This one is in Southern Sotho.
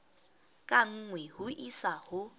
ka nngwe ho isa ho